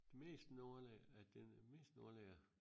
Mest nogen af af det mest af ja